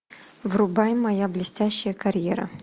врубай моя блестящая карьера